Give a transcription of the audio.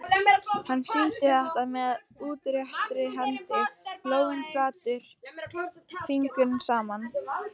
Hann sýndi þetta með útréttri hendi, lófinn flatur, fingurnir saman.